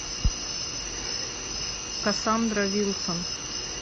кассандра вилсон